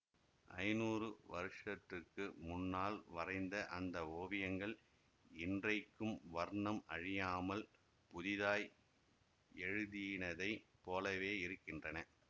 ஐந்நூறு வருஷத்துக்கு முன்னால் வரைந்த அந்த ஓவியங்கள் இன்றைக்கும் வர்ணம் அழியாமல் புதிதாய் எழுதினதை போலவே இருக்கின்றன